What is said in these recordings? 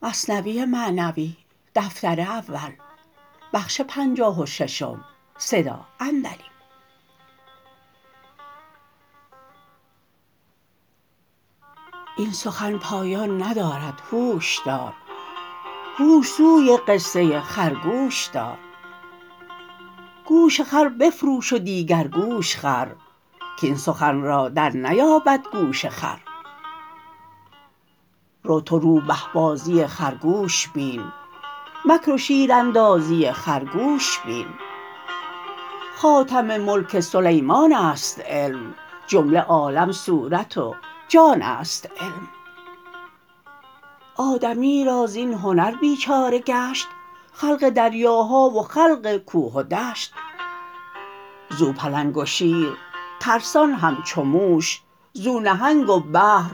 این سخن پایان ندارد هوش دار هوش سوی قصه خرگوش دار گوش خر بفروش و دیگر گوش خر کین سخن را در نیابد گوش خر رو تو روبه بازی خرگوش بین مکر و شیراندازی خرگوش بین خاتم ملک سلیمانست علم جمله عالم صورت و جانست علم آدمی را زین هنر بیچاره گشت خلق دریاها و خلق کوه و دشت زو پلنگ و شیر ترسان همچو موش زو نهنگ و بحر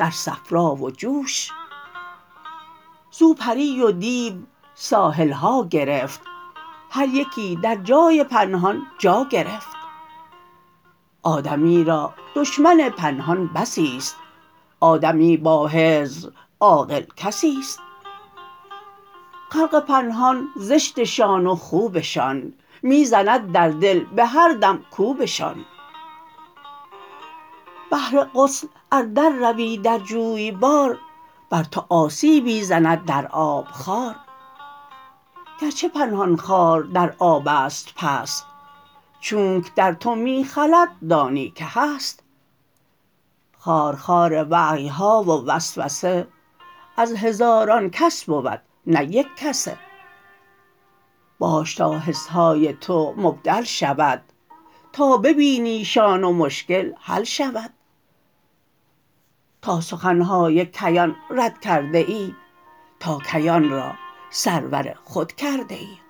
در صفرا و جوش زو پری و دیو ساحلها گرفت هر یکی در جای پنهان جا گرفت آدمی را دشمن پنهان بسی ست آدمی با حذر عاقل کسی ست خلق پنهان زشتشان و خوبشان می زند در دل به هر دم کوبشان بهر غسل ار در روی در جویبار بر تو آسیبی زند در آب خار گرچه پنهان خار در آبست پست چونک در تو می خلد دانی که هست خارخار وحیها و وسوسه از هزاران کس بود نه یک کسه باش تا حسهای تو مبدل شود تا ببینیشان و مشکل حل شود تا سخنهای کیان رد کرده ای تا کیان را سرور خود کرده ای